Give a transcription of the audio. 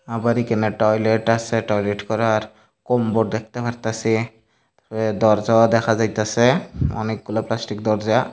আবার এখানে টয়লেট আসে টয়লেট করার কোম্বর দেখতে পারতাসি দরজাও দেখা যাইতাসে অনেকগুলা প্লাস্টিক দরজা।